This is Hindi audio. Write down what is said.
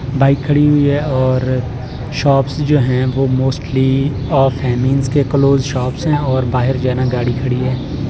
बाइक खड़ी हुई है और शॉप्स जो हैं वह मोस्टली ऑफ है मींस के क्लोज शॉप्स हैं और बाहर जाना गाड़ी खड़ी है।